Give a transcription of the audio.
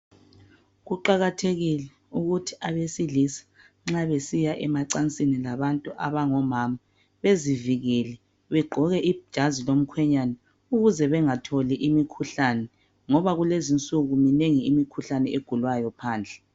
kuqakathekile ukuthi abesilisa nxa besiya emacansini labantu abangomama bezivikele begqoke ijazi lomkhenyana ukuze bengatholi imikhuhlane ngoba kulezinsuku minengi imikhuhlane egulwayo phandle